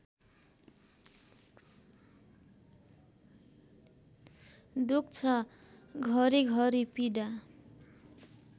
दुख्छ घरिघरि पीडा